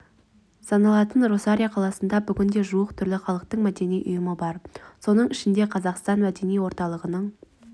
саналатын росарио қаласында бүгінде жуық түрлі халықтың мәдени ұйымы бар соның ішінде қазақстан мәдени орталығының